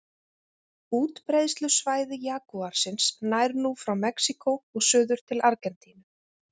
Útbreiðslusvæði jagúarsins nær nú frá Mexíkó og suður til Argentínu.